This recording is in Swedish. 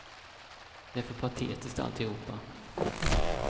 Det är för patetiskt, alltihopa.